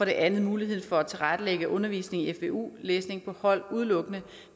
det andet muligheden for at tilrettelægge undervisningen i fvu læsning udelukkende